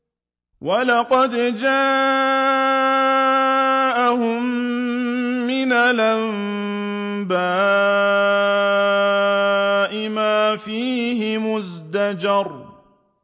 وَلَقَدْ جَاءَهُم مِّنَ الْأَنبَاءِ مَا فِيهِ مُزْدَجَرٌ